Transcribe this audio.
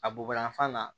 A bobayanfan na